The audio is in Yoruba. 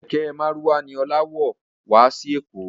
Kẹ̀kẹ́ márúwá ni Ọlá wọ̀ wá sí èkó